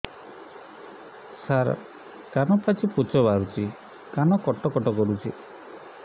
ସାର କାନ ପାଚି ପୂଜ ବାହାରୁଛି କାନ କଟ କଟ କରୁଛି